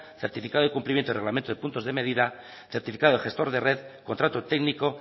certificado de cumplimiento y reglamento de puntos de medida certificado de gestor de red contrato técnico